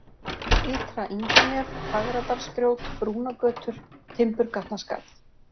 Ytra-Ingunef, Fagradalsgrjót, Brúnagötur, Timburgatnaskarð